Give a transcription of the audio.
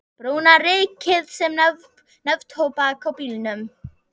Brúna rykið sem neftóbak á bílnum.